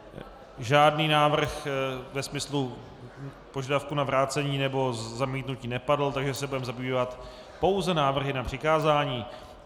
Žádný návrh ve smyslu požadavku na vrácení nebo zamítnutí nepadl, takže se budeme zabývat pouze návrhy na přikázání.